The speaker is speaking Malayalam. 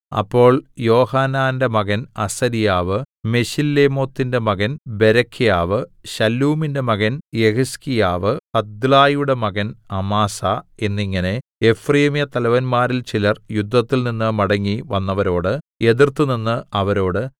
അപ്പോൾ യോഹാനാന്റെ മകൻ അസര്യാവ് മെശില്ലേമോത്തിന്റെ മകൻ ബേരെഖ്യാവ് ശല്ലൂമിന്റെ മകൻ യെഹിസ്കീയാവ് ഹദ്ലായിയുടെ മകൻ അമാസാ എന്നിങ്ങനെ എഫ്രയീമ്യ തലവന്മാരിൽ ചിലർ യുദ്ധത്തിൽ നിന്ന് മടങ്ങി വന്നവരോട് എതിർത്തുനിന്ന് അവരോട്